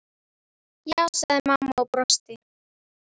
Já, sagði mamma og brosti.